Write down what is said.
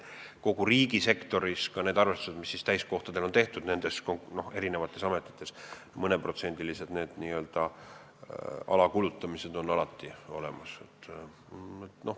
Kui riigisektoris tehakse need arvestused eri ametites täiskohtade põhjal, siis mõneprotsendilised n-ö alakulutamised on alati.